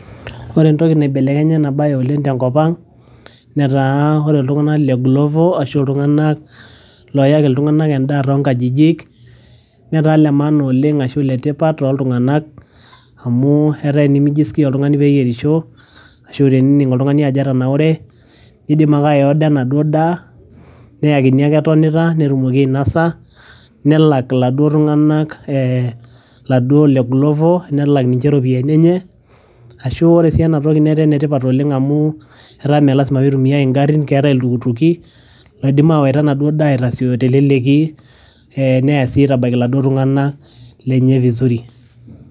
ore entoki naibelekenya ena baye oleng tenkop ang netaa ore iltung'anak le glovo ashu iltung'anak loyaki iltung'anak endaa tonkajijik netaa le maana oleng ashu iletipat toltung'nak amu etaa tenimi jiskia oltung'ani peyierisho ashu tenening oltung'ani ajo etanaure nidim ake ae order enaduo daa neyakini ake etonita netumoki ainasa nelak iladuo tung'anak eh, laduo le glovo nelak ninche iropiyiani enye ashu ore sii enatoki netaa enetipat oleng amu eta meelasima pitumiae ingarrin keetae iltukutuki loidim awaita enaduo daa aitasioyo teleleki eh neya sii aitabaiki iladuo tung'anak lenye vizuri.